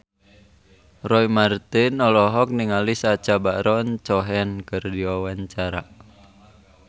Roy Marten olohok ningali Sacha Baron Cohen keur diwawancara